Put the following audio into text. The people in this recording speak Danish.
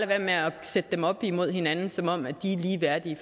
være med at sætte dem op imod hinanden som om de er ligeværdige